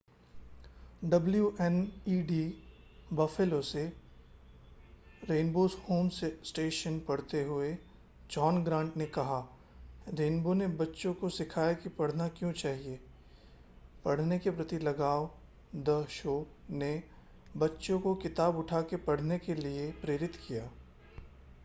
WNED Buffalo से rainbow's home station पढ़ते हुए जॉन ग्रांट ने कहा रेनबो ने बच्चों को सिखाया कि पढ़ना क्यों चाहिए,.... पढने के प्रति लगाव --- द शो ने बच्चों को किताब उठा के पढने के लिए प्रेरित किया